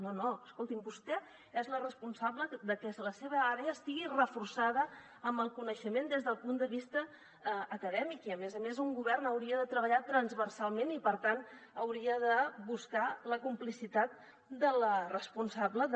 no no escolti’m vostè és la responsable de que la seva àrea estigui reforçada amb el coneixement des del punt de vista acadèmic i a més a més un govern hauria de treballar transversalment i per tant hauria de buscar la complicitat de la responsable de